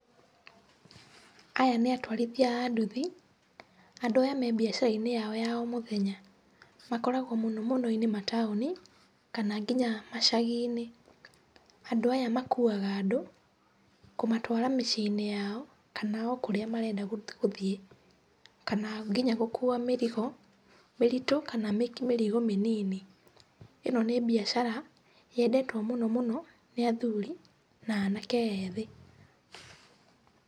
Aya nĩ atũarithia a nduthi, andũ aya me biacara-inĩ yao ya o mũthenya, makoragwo mũno mũno mataũni, kana nginya macagi-inĩ. Andũ aya makuwaga andũ, kũmatwara mĩciĩ-inĩ yao, kana o kũrĩa marenda gũthiĩ. Kana nginya gũkuwa mĩrigo mĩritũ, kana nginya mĩrigo mĩnini. ĩno nĩ biacara, yendetwo mũno mũno nĩ athuri, na anake ethĩ.